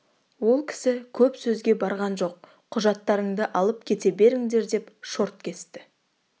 ол кісі көп сөзге барған жоқ құжаттарыңды алып кете беріңдер деп шорт кесті